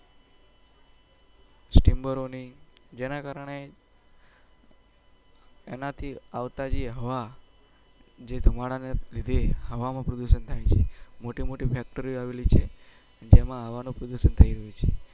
જેના કારણે એનાથી આવતા જે હવા જે ધુમાડાને લીધે હવામાં પ્રદુસન થઇ છે મોટીમોટી factor આવલી છે જેમાં હવાનો પ્રદુસન થઇ રહ્યું છે